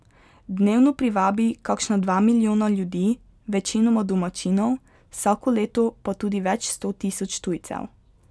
Dnevno privabi kakšna dva milijona ljudi, večinoma domačinov, vsako leto pa tudi več sto tisoč tujcev.